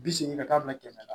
Bi segin ka taa bila kɛmɛ na